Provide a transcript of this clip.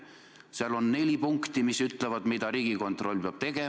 Põhiseaduses on neli punkti, mis ütlevad, mida Riigikontroll peab tegema.